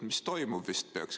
Mis toimub?